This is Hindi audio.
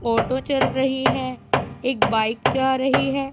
ऑटो चल रही है एक बाइक जा रही है।